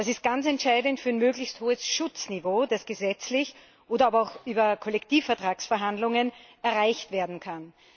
Das ist ganz entscheidend für ein möglichst hohes Schutzniveau, das gesetzlich oder aber auch über Kollektivvertragsverhandlungen erreicht werden kann.